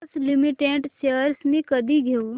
Bosch limited shares मी कधी घेऊ